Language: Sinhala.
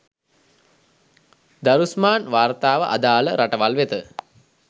දරුස්මාන් වාර්තාව අදාළ රටවල් වෙත